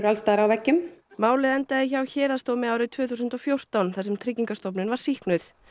alls staðar á veggjum málið endaði hjá héraðsdómi árið tvö þúsund og fjórtán þar sem Tryggingastofnun var sýknuð